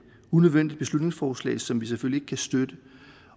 unødvendigt beslutningsforslag som vi selvfølgelig ikke kan støtte